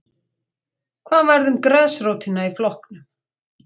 Hvað varð um grasrótina í flokknum?